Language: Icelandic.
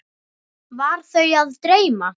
Var þau að dreyma?